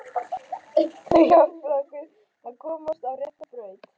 Þau hjálpuðu honum að komast á rétta braut.